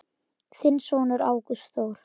Þinn sonur, Ágúst Þór.